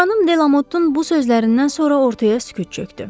Xanım Delamottun bu sözlərindən sonra ortaya sükut çökdü.